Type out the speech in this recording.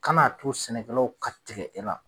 Kan'a to sɛnɛkɛlaw ka tigɛ e la.